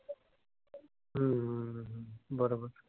बरोबर.